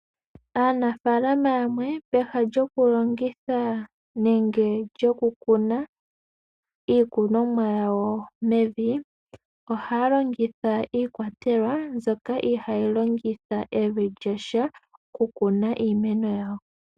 Aanafaalama yamwe peha lyokulongitha nenge lyokukuna iikunomwa yawo mevi. Ohaya longitha iikwatelwa mbyoka ihaayi longitha evi lyasha okukuna iimeno yawo.